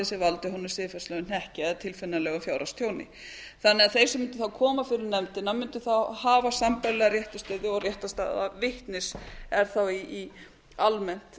sem valdi honum siðferðislegum hnekki eða tilfinnanlegu fjárhagstjóni þeir sem mundu þá koma fyrir nefndina mundu þá hafa sambærilega réttarstöðu og réttarstaða vitnis er þá almennt